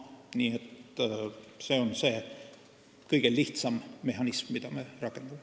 Nii et see on see kõige lihtsam mehhanism, mida me rakendame.